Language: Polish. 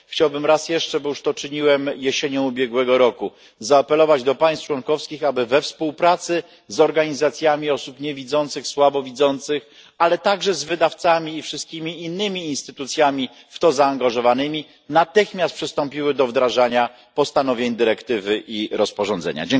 Chciałbym raz jeszcze, bo już to czyniłem jesienią ubiegłego roku, zaapelować do państw członkowskich, aby we współpracy z organizacjami osób niewidzących, słabowidzących, ale także z wydawcami i wszystkimi innymi instytucjami w to zaangażowanymi natychmiast przystąpiły do wdrażania postanowień dyrektywy i rozporządzenia.